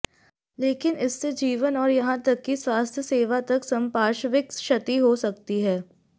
लेकिन इससे जीवन और यहां तक कि स्वास्थ्य सेवा तक संपार्श्विक क्षति हो सकती है